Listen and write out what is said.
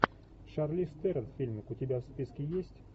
шарлиз терон фильмик у тебя в списке есть